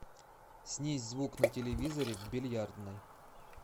снизь звук на телевизоре в бильярдной